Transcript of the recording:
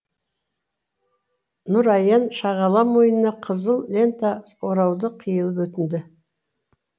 нұраян шағала мойнына қызыл лента орауды қиылып өтінді